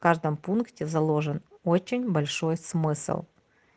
каждом пункте заложен очень большой смысл